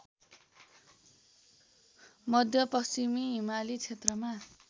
मध्यपश्चिमी हिमाली क्षेत्रमा